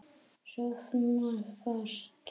Sofna fast.